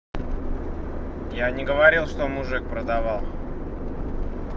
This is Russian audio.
я не говорил что мужик продавал